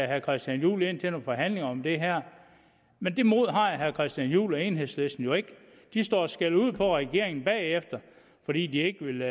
herre christian juhl ind til nogle forhandlinger om det her men det mod har herre christian juhl og enhedslisten jo ikke de står og skælder ud på regeringen bagefter fordi de ikke ville